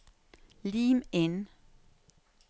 Lim inn